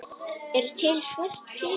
Er til svört kista?